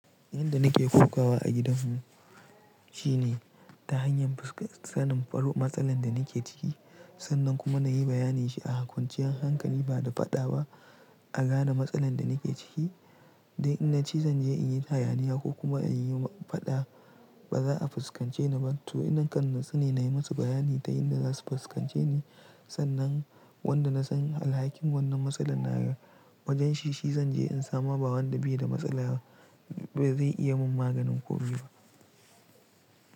Yanda nake kokawa a gidan mu shine ta hanyar fuskantar faruwa matsalar da nake ciki, sannan kuma na yi bayanai shi a kwanciyan hankali ba da faɗa ba a gane matsalar da nake ciki. Dan in na ci zance in yi hayaniya ko kuma in yi faɗa, ba za a fuskance ni ba. To ina kande sane na yi musu bayani ta yanda za su fuskance ni. Sannan wanda na san alhakin wannan matsala na wajen shi, shi zan je in samu. Ba wanda bai da matsala ba zai iya min maganin ko ruwa.